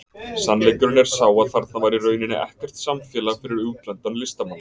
Sannleikurinn er sá að þarna var í rauninni ekkert samfélag fyrir útlendan listamann.